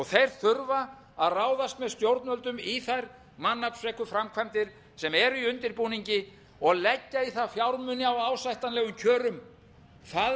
þeir þurfa að ráðast með stjórnvöldum í þær mannaflsfreku framkvæmdir sem eru í undirbúningi og leggja í það fjármuni á ásættanlegum kjörum það